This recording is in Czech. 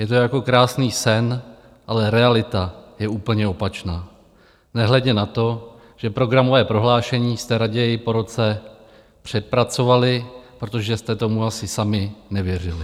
Je to jako krásný sen, ale realita je úplně opačná, nehledě na to, že programové prohlášení jste raději po roce přepracovali, protože jste tomu asi sami nevěřili.